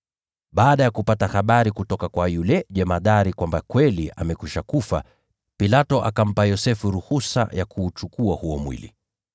Baada ya kupata habari kutoka kwa yule jemadari kwamba kweli amekwisha kufa, Pilato akampa Yosefu ruhusa ya kuuchukua huo mwili.